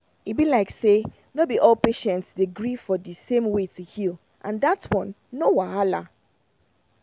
e be like say no be all patients dey gree for di same way to heal and dat one no wahala.